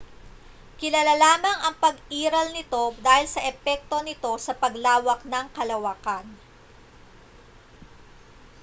kilala lamang ang pag-iral nito dahil sa mga epekto nito sa paglawak ng kalawakan